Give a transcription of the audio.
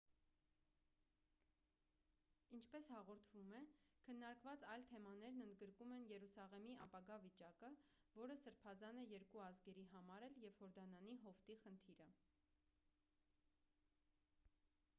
ինչպես հաղորդվում է,քննարկված այլ թեմաներն ընդգրկում են երուսաղեմի ապագա վիճակը որը սրբազան է երկու ազգերի համար էլ և հորդանանի հովտի խնդիրը։